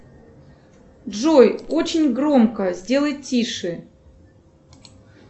джой очень громко сделай тише